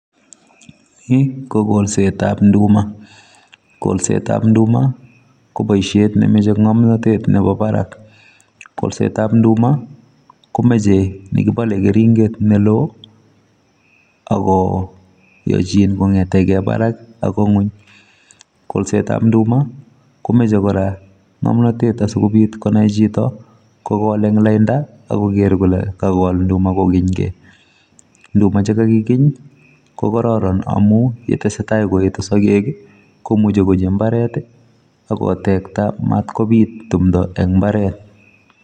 Yu ko kolsetab nduma, kolsetab ndumaa ko boishiet nemoche ngomnotet Nebo barak. Kolsetab induma komoche nekibole keringet neloo ako yoechin kongeten kee barak bokoi ngwony. Kolsetab indumaa kora komoche kora ngomnotet aaikobiit konai chito lainda akoker kole kakol ndumaa komie. Nduma chekakikeen ko karoron amun yetesetai koetu sogeek komuche koroob imbaaret ak kotektaa mat kobiit timtoo en imbaret